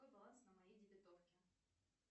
какой баланс на моей дебитовке